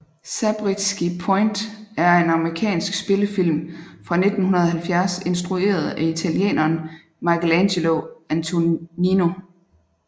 Zabriskie Point er en amerikansk spillefilm fra 1970 instrueret af italieneren Michelangelo Antonioni